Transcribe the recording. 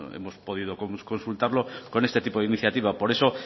hemos podido consultarlo con este tipo de iniciativa por eso